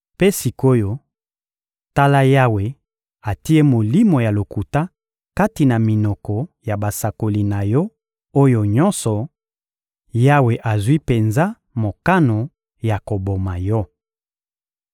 Mpe sik’oyo, tala, Yawe atie molimo ya lokuta kati na minoko ya basakoli na yo oyo nyonso; Yawe azwi penza mokano ya koboma yo!